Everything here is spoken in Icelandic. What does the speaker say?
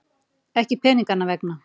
Ekki peninganna vegna.